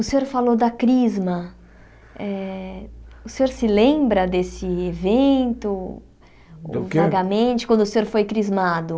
O senhor falou da crisma, o senhor se lembra desse evento, O que do vagamente, quando o senhor foi crismado?